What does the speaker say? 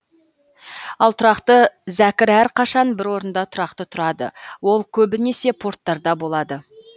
ал тұрақты зәкір әрқашан бір орында тұрақты тұрады ол көбінесе порттарда болады